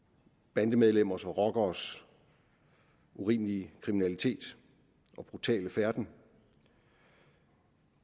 bandemedlemmers og rockeres urimelige kriminalitet og brutale færden